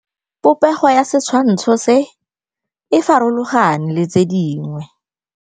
Popêgo ya setshwantshô se, e farologane le tse dingwe.